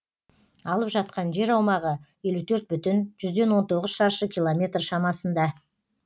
алып жатқан жер аумағы елу төрт бүтін жүзден он тоғыз шаршы километр шамасында